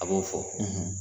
A b'o fɔ